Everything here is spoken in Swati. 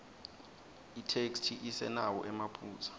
itheksthi isenawo emaphutsa